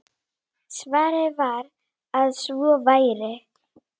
Svarið var að svo væri.